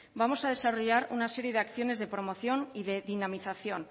vamos a desarrollar una serie de acciones de promoción y de dinamización